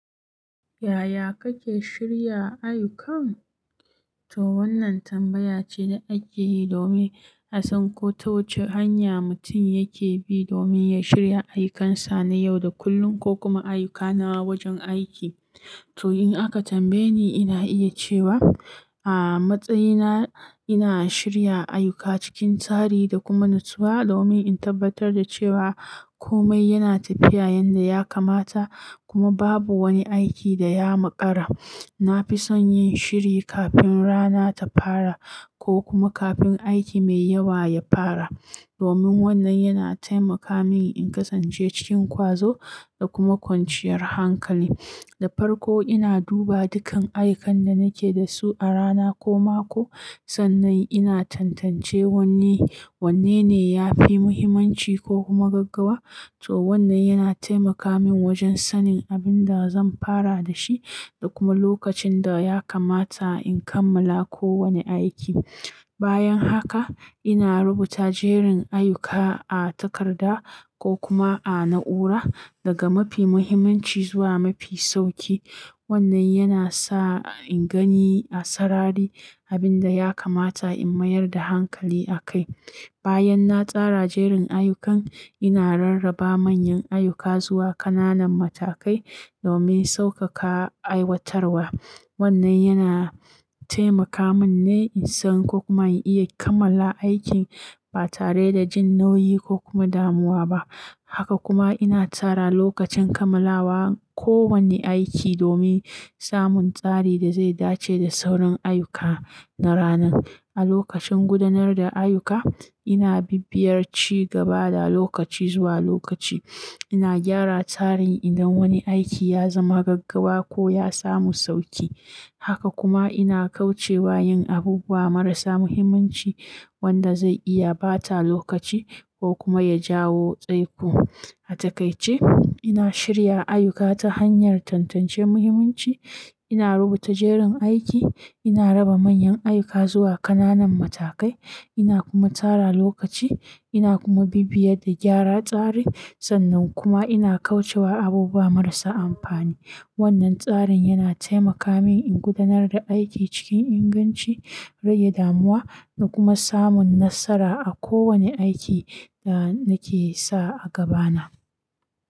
Yaya kake shirya ayyukan? To wannan tambaya ce da ake yi domin a san ko ta wace hanya mutum yake bi domin ya shirya ayyukansa na yau da kullum ko kuma ayyuka na wajen aiki. To in aka tambaye ni, ina iya cewa a matsayina ina shirya ayyuka cikin tsari da kuma natsuwa domin in tabbatar da cewa komai yana tafiya yanda ya kamata kuma babu wani aiki da ya maƙara. Na fi son yin shiri kafin rana ta fara ko kuma kafin aiki mai yawa ya fara domin wannan yana taimaka min in kasance cikin kwazo da kuma kwanciyar hankali. Da farko, ina duba dukan ayukan da nake da su a rana ko mako. Sannan ina tantance wanne, wanne ne ya fi mahimmanci ko kuma gaggawa. To wannan yana taimaka min wajen sanin abin da zan fara da shi da kuma lokacin da ya kamata in kammala kowane aiki. Bayan haka, ina rubuta jerin ayuka a takarda ko kuma a na'ura, daga mafi muhimmanci zuwa mafi sauki. Wannan yana sa in gani a sarari abin da ya kamata in mayar da hankali a kai. Bayan na tsara jerin ayyukan, ina rarraba manyan ayyuka zuwa ƙananan matakai domin sauƙaƙa aiwatarwa. Wannan yana taimaka minne in san ko kuma in iya kammala aikin ba tare da jin nauyi ko kuma damuwa ba. Haka kuma ina tsara lokacin kammalawa kowane aiki domin samun tsari da zai dace da saurin ayyuka na ranan. A lokacin gudanar da ayyuka, ina bibiyar ci gaba da lokaci zuwa lokaci. Ina gyara tsarin idan wani aiki ya zama gaggawa ko ya samu sauki. Haka kuma ina kauce wa yin abubuwa marasa muhimmanci wanda zai iya ɓata lokaci ko kuma ya jawo tsaiko. A takaice, ina shirya ayyuka ta hanyar tantance muhimmanci, ina rubuta jerin aiki, ina raba manyan ayyuka zuwa ƙananan matakai, ina kuma tsara lokaci, ina kuma bibiyar da gyara tsari. Sannan kuma ina kauce wa abubuwa marasa amfani. Wannan tsarin yana taimaka mini in gudanar da aiki cikin inganci, rage damuwa da kuma samun nasara a kowane aiki da nake sa a gabana.